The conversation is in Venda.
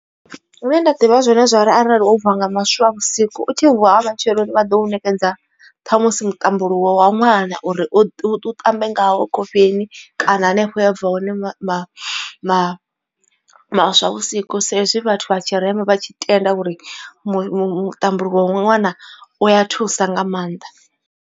Zwine nda ḓivha zwone zwori arali wo bva nga maswavhusiku u tshi vuwa nga matsheloni vha ḓo u nekedza ṱhamusi mutambuluwo wa ṅwana. Uri u ṱambe ngawo khofheni kana anefho hea bva hone ma ma ma maswavhusiku sa izwi vhathu vha tshirema vha tshi tenda uri muṱambuluwo wa ṅwana u a thusa nga maanḓa.